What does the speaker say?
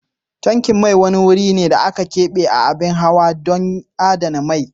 Tankin mai wani wuri ne na abin hawa da aka kebe ɗon adana mai.